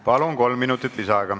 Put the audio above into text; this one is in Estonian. Palun, kolm minutit lisaaega!